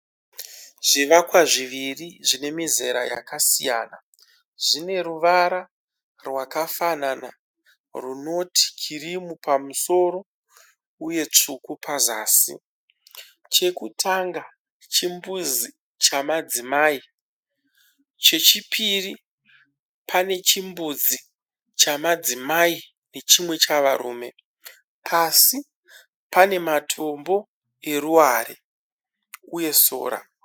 Zvivakwa zviviri zvinemizera yakasiyana zvineruvara rwakafanana runoti kirimu pamusoro uye tsvuku pazazi, chekutanga chimbuzi chemadzimai chechipiri pane chimbuzi chamadzimai nechimwe chavarume pasi pane matombo eruware uye sora.